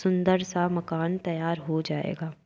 सुंदर सा मकान तैयार हो जाएगा।